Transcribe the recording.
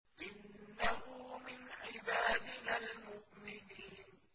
إِنَّهُ مِنْ عِبَادِنَا الْمُؤْمِنِينَ